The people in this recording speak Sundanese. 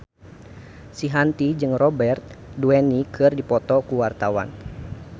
Shanti jeung Robert Downey keur dipoto ku wartawan